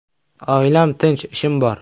Oilam tinch, ishim bor.